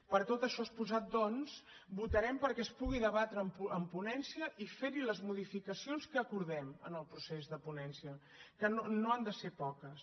per tot això exposat doncs votarem perquè es pugui debatre en ponència i ferhi les modificacions que acordem en el procés de ponència que no han de ser poques